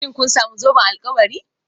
Shin kun sami zoben alkawari?